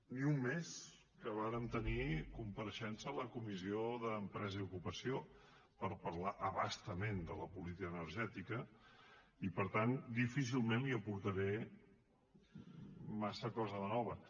ni un mes que vàrem tenir compareixença a la comissió d’empresa i ocupació per parlar a bastament de la política energètica i per tant difícilment li aportaré massa cosa de nova